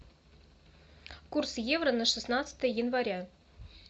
курс евро на шестнадцатое января